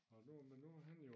Og nu men nu han jo